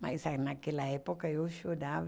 Mas naquela época eu chorava.